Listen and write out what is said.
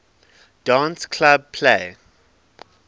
dance club play